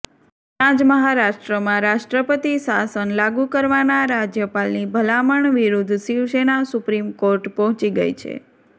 ત્યાં જ મહારાષ્ટ્રમાં રાષ્ટ્રપતિ શાસન લાગૂ કરવાના રાજ્યપાલની ભલામણ વિરૂદ્ધ શિવસેના સુપ્રીમકોર્ટ પહોંચી ગઇ છે